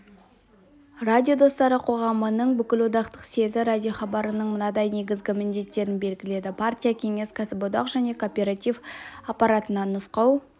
радио достары қоғамының бүкілодақтық съезі радиохабарының мынадай негізгі міндеттерін белгіледі партия-кеңес кәсіподақ және кооператив аппаратына нұсқау